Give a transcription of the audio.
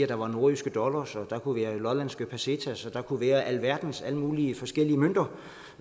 der var nordjyske dollars og der kunne være lollandske pesetas og der kunne være alle mulige forskellige mønter